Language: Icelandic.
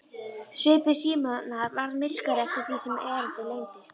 Svipur Símonar varð myrkari eftir því sem erindið lengdist.